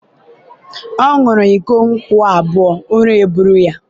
ọ ṅuru iko nkwu abua, ụra buru ya.